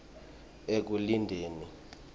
ekulindeni